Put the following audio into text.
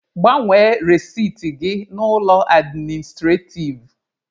Gbanwe resiti gị na ụlọ administrativ!